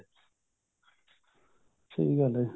ਸਹੀ ਗੱਲ ਹੈ